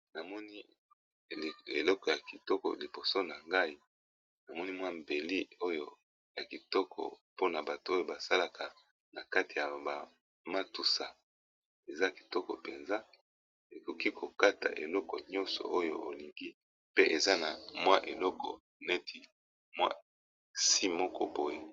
Namoni eleko ya kitoko liboso na ngai namoni mwa mbeli oyo ya kitoko mpona bato oyo ba salaka na kati ya ba matusa, eza kitoko mpenza ekoki ko kata eloko nyonso oyo olingi pe eza na mwa eloko neti mwa si moko boye.